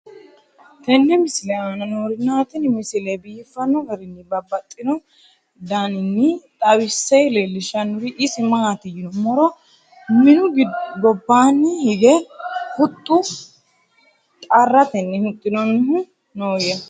tenne misile aana noorina tini misile biiffanno garinni babaxxinno daniinni xawisse leelishanori isi maati yinummoro minnu gobbanni hige huxxu xarattenni huxxinnonnihu nooyya